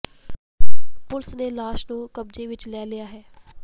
police ਨੇ ਲਾਸ਼ ਨੂੰ ਕਬਜ਼ੇ ਵਿੱਚ ਲੈ ਲਿਆ ਹੈ